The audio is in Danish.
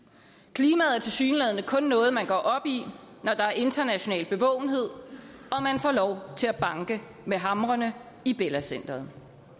klimaet er tilsyneladende kun noget man går op i når der er international bevågenhed og man får lov til at banke med hamrene i bella center